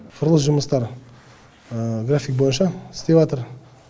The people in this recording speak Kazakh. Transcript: құрылыс жұмыстары график бойынша істеватыр